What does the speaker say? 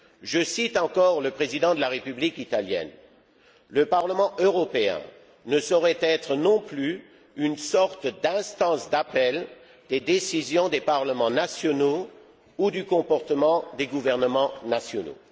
Je cite encore le président de la République italienne Le Parlement européen ne saurait être non plus une sorte d'instance d'appel des décisions des parlements nationaux ou du comportement des gouvernements nationaux.